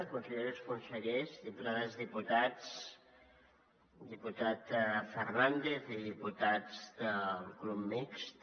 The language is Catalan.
conselleres consellers diputades diputats diputat fernández i diputats del grup mixt